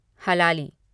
हलाली